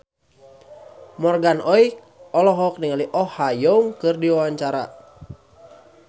Morgan Oey olohok ningali Oh Ha Young keur diwawancara